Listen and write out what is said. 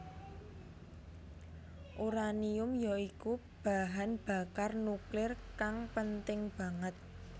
Uranium ya iku bahan bakar nuklir kang penting banget